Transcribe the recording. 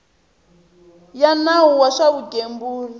ya nawu wa swa vugembuli